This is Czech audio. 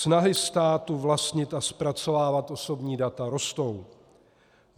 Snahy státu vlastnit a zpracovávat osobní data rostou.